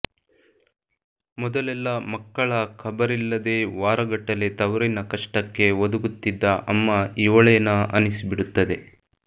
ಮೊದಲೆಲ್ಲ ಮಕ್ಕಳ ಖಬರಿಲ್ಲದೇ ವಾರಗಟ್ಟಲೇ ತವರಿನ ಕಷ್ಟಕ್ಕೆ ಒದಗುತ್ತಿದ್ದ ಅಮ್ಮ ಇವಳೇನಾ ಅನಿಸಿಬಿಡುತ್ತದೆ